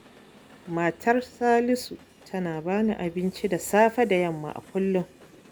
Matar Salisu tana ba ni abinci safe da yamma a kullum.